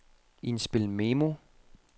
indspil memo